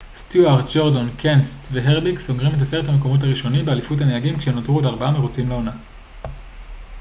סטיוארט גורדון קנסת' והרביק סוגרים את עשרת המקומות הראשונים באליפות הנהגים כשנותרו עוד ארבעה מרוצים לעונה